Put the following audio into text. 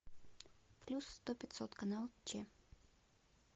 плюс сто пятьсот канал че